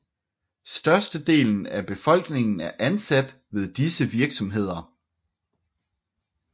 Størstedelen af befolkningen er ansat ved disse virksomheder